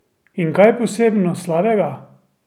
In kaj posebno slabega?